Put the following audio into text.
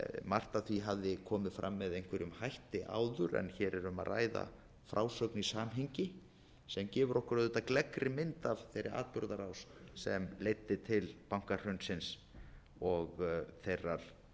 margt af því hafði komið fram með einhverjum hætti áður en hér er um að ræða frásögn í samhengi sem gefur okkur auðvitað gleggri mynd af þeirri atburðarás sem leiddi til bankahrunsins og þeirrar